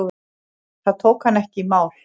Það tók hann ekki í mál.